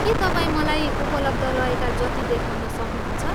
के तपाईँ मलाई उपलब्ध रहेका जति देखाउन सक्नुहुन्छ?